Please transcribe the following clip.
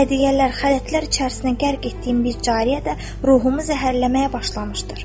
Hədiyyələr, xələtlər içərisinə qərq etdiyim bir cariyə də ruhumu zəhərləməyə başlamışdır.